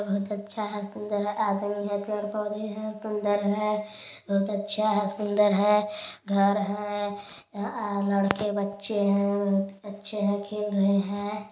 बहुत अच्छा हैं सुन्दर हैं आदमी हैं पेड़-पौधें हैं सुन्दर हैं बहुत अच्छा हैं सुन्दर हैं घर हैं आ-- लड़के बच्चे हैं अच्छे हैं खेल रहे हैं |